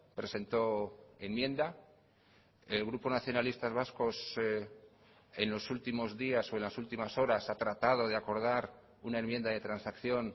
presentó enmienda el grupo nacionalistas vascos en los últimos días o en las últimas horas ha tratado de acordar una enmienda de transacción